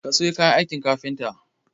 Kasayo kayan aikin kafita